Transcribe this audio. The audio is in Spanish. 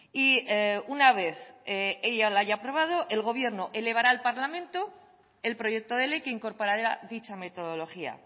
y una vez ella lo haya aprobado el gobierno elevará al parlamento el proyecto de ley que incorporará dicha metodología